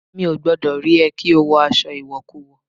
Mi ò gbọ́dọ̀ rí ẹ kí o wọ aṣọ ìwọ̀kuwọ̀!